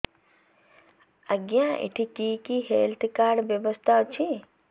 ଆଜ୍ଞା ଏଠି କି କି ହେଲ୍ଥ କାର୍ଡ ବ୍ୟବସ୍ଥା ଅଛି